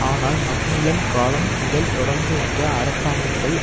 ஆனால் மக்மில்லன் காலம் முதல் தொடர்ந்து வந்த அரசாங்கங்கள்